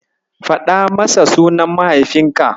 Faɗa masa sunan mahaifinka.